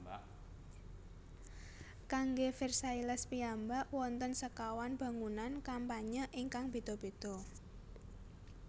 Kanggé Versailles piyambak wonten sekawan bangunan kampanye ingkang béda béda